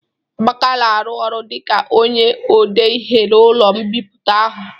Amaka na-arụ ọrụ dịka onye odeihe n'ụlọ mbipụta ahu